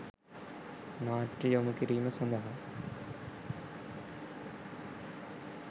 නාට්‍ය යොමු කිරීම සඳහා